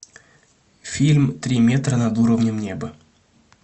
фильм три метра над уровнем неба